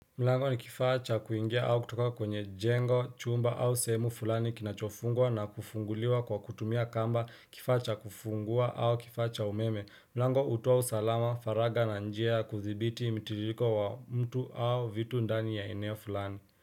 Mlango nikifaa cha kuingia au kutoka kwenye jengo chumba au semu fulani kinachofungwa na kufunguliwa kwa kutumia kamba kifaa cha kufungua au kifaa cha umeme, mlango utoa usalama faraga na njia ya kuthibiti mitiririko wa mtu au vitu ndani ya eneo fulani.